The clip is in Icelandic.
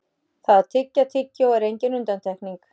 Það að tyggja tyggjó er engin undantekning.